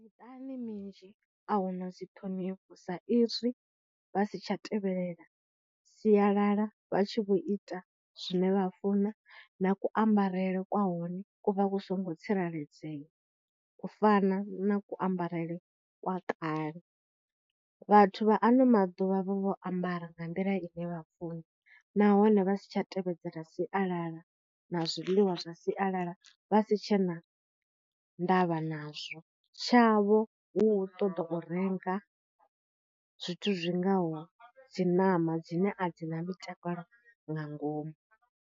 Miṱani minzhi a hu na dzi ṱhonifho saizwi vha si tsha tevhelela sialala vha tshi vho ita zwine vha funa na kuambarele kwa hone ku vha ku songo tsireledzea u fana na kuambarele kwa kale. vhathu vha ano maḓuvha vha vho ambara nga nḓila ine vha funa nahone vha si tsha tevhedzela sialala na zwiḽiwa zwa sialala vha si tshena ndavha nazwo tshavho hu ṱoḓa u renga zwithu zwi ngaho dzi ṋama dzine a dzi ḽa mitakalo nga ngomu.